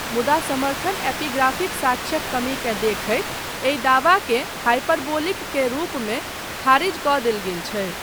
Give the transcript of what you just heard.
मुदा समर्थन एपिग्राफिक साक्ष्यक कमीकेँ देखैत एहि दावाकेँ "हाइपरबोलिक" के रूपमे खारिज कऽ देल गेल छै।